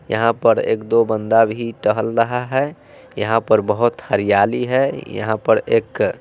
यहां पर एक दो बंदा भी टहल रहा हैं यह पर बोहोत हरियाली है यहां पर एक--